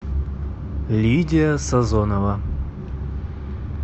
лидия сазонова